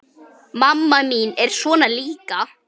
Mamma mín er svona líka.